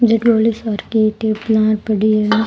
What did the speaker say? जेकी बोली सार की टेबला र पड़ी है।